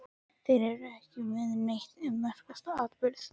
Þeir eru ekki með neitt um merkasta atburð